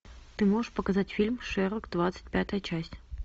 ты можешь показать фильм шерлок двадцать пятая часть